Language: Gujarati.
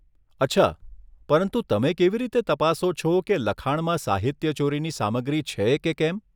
અચ્છા, પરંતુ તમે કેવી રીતે તપાસો છો કે લખાણમાં સાહિત્યચોરીની સામગ્રી છે કે કેમ?